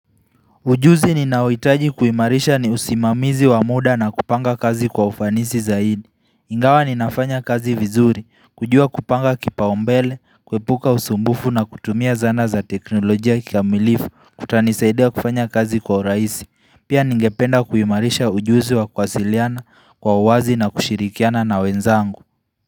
Ujuzi ninaohitaji kuimarisha ni usimamizi wa muda na kupanga kazi kwa ufanisi zaidi. Ingawa ninafanya kazi vizuri, kujua kupanga kipaombele, kwepuka usumbufu na kutumia zana za teknolojia kikamilifu kutanisaidia kufanya kazi kwa uraisi. Pia ningependa kuimarisha ujuzi wa kwasiliana kwa uwazi na kushirikiana na wenzangu.